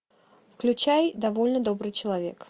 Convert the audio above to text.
включай довольно добрый человек